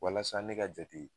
Walasa ne ka jate